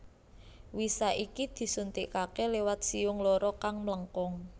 Wisa iki disuntikake liwat siung loro kang mlengkung